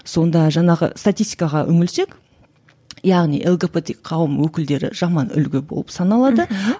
сонда жаңағы статистикаға үңілсек яғни лгбт қауым өкілдері жаман үлгі болып саналады мхм